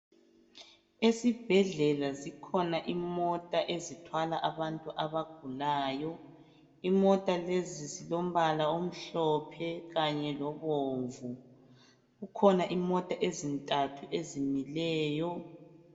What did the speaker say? ezibhedlela zikhona imota ezithwala abantu abagulayo imota lezi zilombala omhlophe kanye lobomvu kukhona imota ezintathu ezimileyo